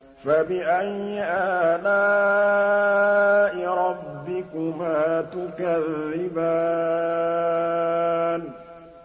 فَبِأَيِّ آلَاءِ رَبِّكُمَا تُكَذِّبَانِ